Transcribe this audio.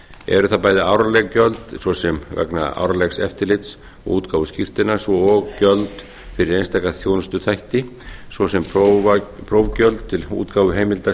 eru það bæði árleg gjöld svo sem vegna árlegs eftirlits og útgáfu skírteina svo og gjöld fyrir einstaka þjónustuþætti svo sem prófgjöld til útgáfuheimilda